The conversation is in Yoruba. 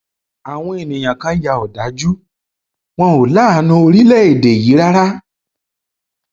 àwọn èèyàn kan ya òdájú wọn ò láàánú orílẹèdè yìí rárá